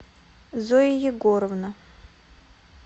зоя егоровна